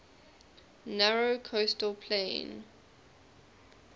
narrow coastal plain